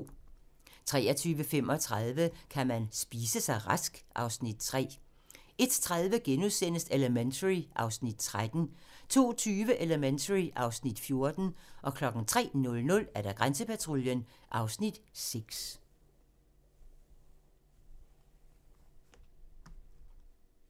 23:35: Kan man spise sig rask? (Afs. 3) 01:30: Elementary (Afs. 13)* 02:20: Elementary (Afs. 14) 03:00: Grænsepatruljen (Afs. 6)